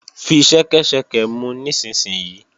Fi ṣẹ́kẹ́ṣẹkẹ̀ mu nísinsìnyí!